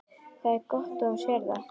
Það er gott að þú sérð það.